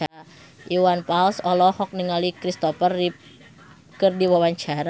Iwan Fals olohok ningali Christopher Reeve keur diwawancara